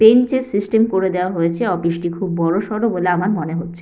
Bench এর system করে দেওয়া হয়েছেঅফিস টি খুব বড়সড় বলে আমার মনে হচ্ছে।